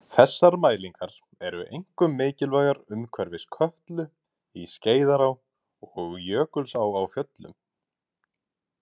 Þessar mælingar eru einkum mikilvægar umhverfis Kötlu, í Skeiðará og Jökulsá á Fjöllum.